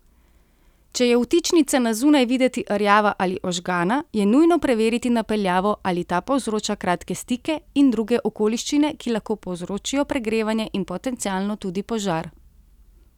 Če je vtičnica na zunaj videti rjava ali ožgana, je nujno preveriti napeljavo, ali ta povzroča kratke stike, in druge okoliščine, ki lahko povzročijo pregrevanje in potencialno tudi požar.